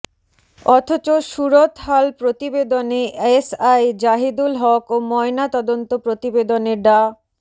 অথচ সুরতহাল প্রতিবেদনে এসআই জাহিদুল হক ও ময়না তদন্ত প্রতিবেদনে ডা